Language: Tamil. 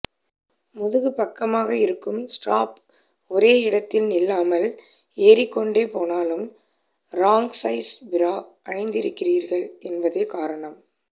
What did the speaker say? முதுகுப் பக்கமாக இருக்கும் ஸ்ட்ராப் ஒரே இடத்தில் நில்லாமல் ஏறிக்கொண்டே போனாலும் ராங் சைஸ் பிரா அணிந்திருக்கிறீர்கள் என்பதே காரணம்